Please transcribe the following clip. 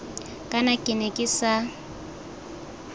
kana ke ne ke sa